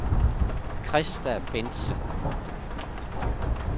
Christa Bendtsen